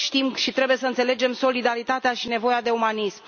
Toți știm și trebuie să înțelegem solidaritatea și nevoia de umanism.